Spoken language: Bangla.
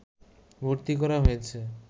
ভর্তি করা হয়েছে